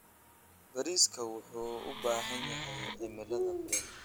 Bariiska wuxuu u baahan yahay cimilada kulul.